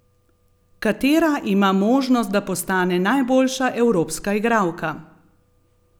Katera ima možnost, da postane najboljša evropska igralka?